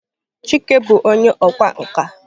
Chike bụ onye ọkwá nkà.